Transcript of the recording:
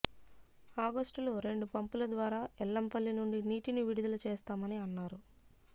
ఆగస్టులో రెండు పంపుల ద్వారా ఎల్లంపల్లి నుండి నీటిని విడుదల చేస్తామని అన్నారు